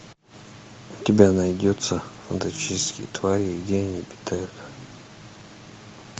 у тебя найдется фантастические твари и где они обитают